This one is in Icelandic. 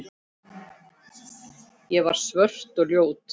Ég var svört og ljót.